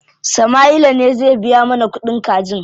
Sama'ila ne zai biya mana kuɗin kajin.